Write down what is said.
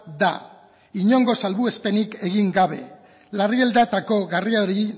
da inongo salbuespenik egin gabe larrialdietako gaiari